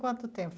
Quanto tempo?